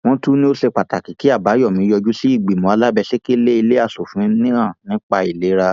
wọn tún ní ó ṣe pàtàkì kí àbáyọmí yọjú sí ìgbìmọ alábẹsẹkẹlé ilé asòfin náà nípa ìlera